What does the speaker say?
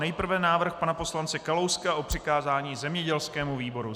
Nejprve návrh pana poslance Kalouska o přikázání zemědělskému výboru.